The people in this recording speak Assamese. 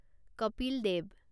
কপিল দেৱ